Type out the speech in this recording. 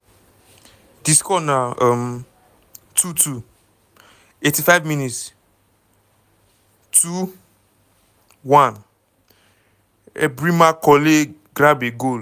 di score na um 2:2. 85 - mins 2 - 1 - ebrima colley grab a goal! um